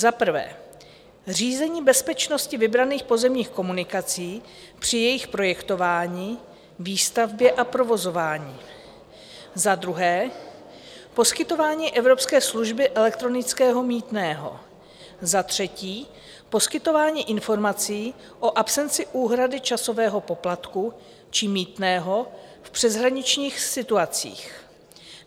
Za prvé, řízení bezpečnosti vybraných pozemních komunikací při jejich projektování, výstavbě a provozování, za druhé, poskytování evropské služby elektronického mýtného, za třetí, poskytování informací o absenci úhrady časového poplatku či mýtného v přeshraničních situacích.